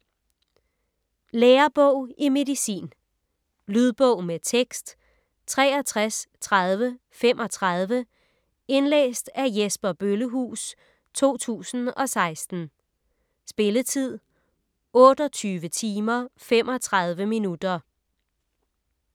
Lærebog i medicin Lydbog med tekst 633035 Indlæst af Jesper Bøllehuus, 2016. Spilletid: 28 timer, 35 minutter.